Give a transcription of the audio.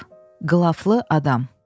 Qılaflı Adam.